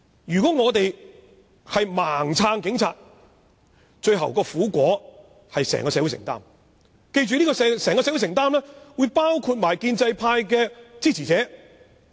如果我們盲目支持警察，最後的苦果便要由整個社會承擔，包括建制派支持者。